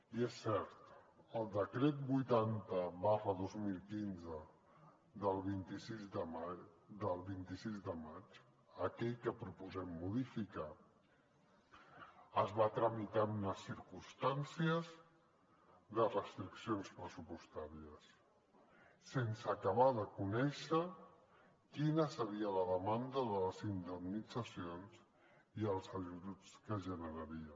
i és cert el decret vuitanta dos mil quinze del vint sis de maig aquell que proposem modificar es va tramitar en unes circumstàncies de restriccions pressupostàries sense acabar de conèixer quina seria la demanda de les indemnitzacions i els ajuts que generaria